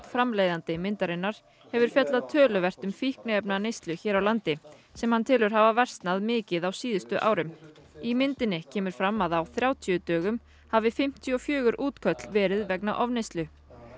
framleiðandi myndarinnar hefur fjallað töluvert um fíkniefnaneyslu hér á landi sem hann telur hafa versnað mikið á síðustu árum í myndinni kemur fram að á þrjátíu dögum hafi fimmtíu og fjögur útköll verið vegna ofneyslu